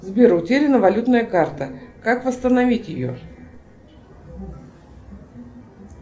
сбер утеряна валютная карта как восстановить ее